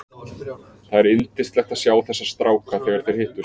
Það er yndislegt að sjá þessa stráka þegar þeir hittast.